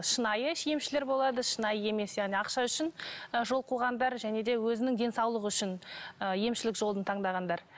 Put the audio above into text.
шынайы емшілер болады шынайы емес яғни ақша үшін і жол қуғандар және де өзінің денсаулығы үшін ы емшілік жолын таңдағандар